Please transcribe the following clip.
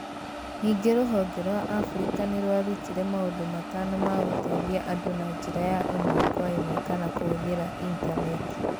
Ningĩ rũhonge rwa Africa nĩ rwarutire maũndũ matano ma gũteithia andũ na njĩra ya ĩmwe kwa ĩmwe kana kũhũthĩra Intaneti